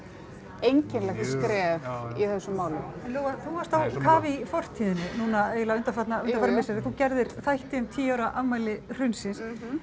einkennilegt skref í þessu máli en Lóa þú varst á kafi í fortíðinni núna eiginlega undanfarin misseri þú gerðir þætti um tíu ára afmæli hrunsins